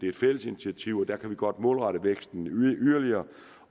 et fælles initiativ og der kan vi godt målrette væksten yderligere